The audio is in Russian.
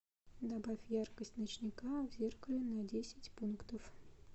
добавь яркость ночника в зеркале на десять пунктов